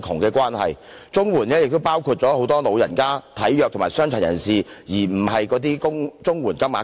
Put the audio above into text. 綜援受助人亦包括很多長者、體弱及傷殘人士，而不是綜援金額高。